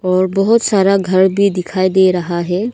और बहुत सारा घर भी दिखाई दे रहा है।